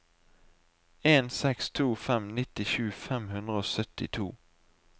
en seks to fem nittisju fem hundre og syttito